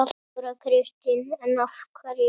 Þóra Kristín: En af hverju?